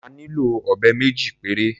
A nílò ọ̀bẹ méjì péré.